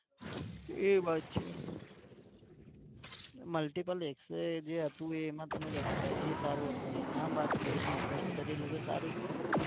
એ વાત છે. multiple X-ray જે હતું એ જેમાં તમે જતાં તા એ સારું હતું તો યા વાત કરીને invest કરી લો તો સારું જ છે ને